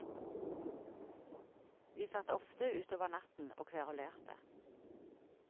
Vi satt ofte utover natten og kverulerte.